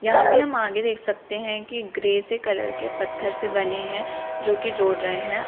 यहां पे हम आगे देख सकते हैं की ग्रे से कलर के पत्थर से बने हैं जो की जोड़ रहे हैं।